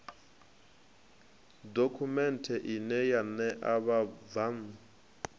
dokhumenthe ine ya ṋea vhabvann